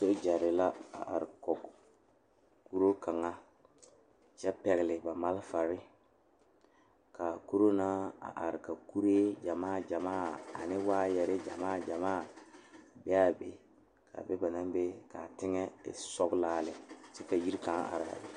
Sogyere la a are kɔŋ kuri kaŋa noba naŋ waa yaga Nenpeɛle ane nensɔglaa ba su la gyase kparre ka a taa nanbare bamine su la kpare peɛle ka bamine su kpare ziiri ka paa ba ziɛ ka o e oroge.